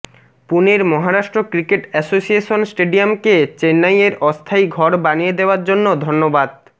পুণের Maharashtra cricket association স্টেডিয়ামকে চেন্নাইয়ের অস্থায়ী ঘর বানিয়ে দেওযার জন্য ধন্যবাদ